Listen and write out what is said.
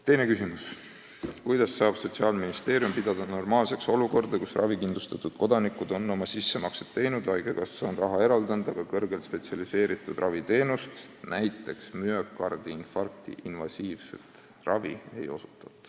Teine küsimus: "Kuidas saab Sotsiaalministeerium pidada normaalseks olukorda, kus ravikindlustatud kodanikud on oma sissemaksed teinud, Eesti Haigekassa on lepingupartnerile raha eraldanud, aga kõrgelt spetsialiseeritud raviteenust ei osutata?